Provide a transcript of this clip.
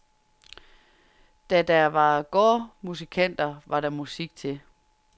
Da der var gårdmusikanter, var der musik til.